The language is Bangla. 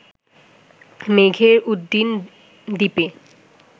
মেঘের উড্ডীন দ্বীপে